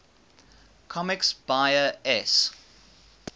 comics buyer s